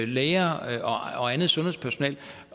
læger og andet sundhedspersonale